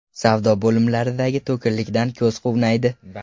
Savdo bo‘limlaridagi to‘kinlikdan ko‘z quvnaydi.